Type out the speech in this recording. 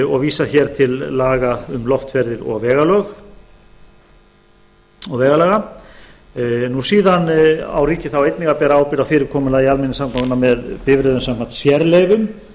og vísar hér til laga um loftferðir og vegalaga síðan á ríkið einnig að bera ábyrgð á fyrirkomulagi almenningssamgangna með bifreiðum samkvæmt sérleyfum